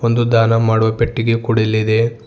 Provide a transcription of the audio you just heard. ಒಂದು ದಾನ ಮಾಡುವ ಪೆಟ್ಟಿಗೆ ಕೂಡ ಇಲ್ಲಿ ಇದೆ.